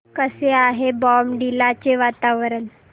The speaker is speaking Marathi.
कसे आहे बॉमडिला चे वातावरण